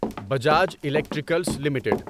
Bajaj electricals limited